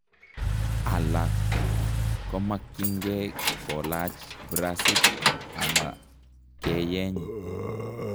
Alak komakyinkee kolach bracit ala keyeny